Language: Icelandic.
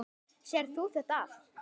Sérð þú þetta allt?